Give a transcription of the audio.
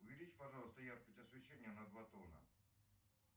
увеличь пожалуйста яркость освещения на два тона